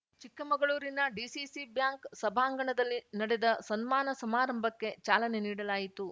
ಚಿಕ್ಕಮಗಳೂರಿನ DCC bank ಸಭಾಂಗಣದಲ್ಲಿ ನಡೆದ ಸನ್ಮಾನ ಸಮಾರಂಭಕ್ಕೆ ಚಾಲನೆ ನೀಡಲಾಯಿತು